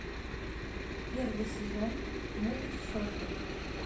первый сезон мульт сотня